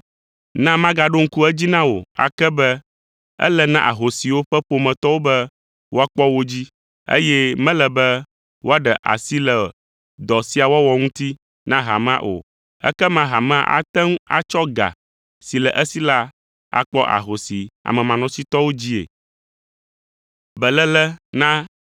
Na magaɖo ŋku edzi na wò ake be ele na ahosiwo ƒe ƒometɔwo be woakpɔ wo dzi, eye mele be woaɖe asi le dɔ sia wɔwɔ ŋuti na hamea o. Ekema hamea ate ŋu atsɔ ga si le esi la akpɔ ahosi amemanɔsitɔwo dzii.